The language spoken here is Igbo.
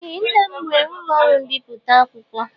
Ee, nnam nwere ụlọ ọrụ mbipụta akwụkwọ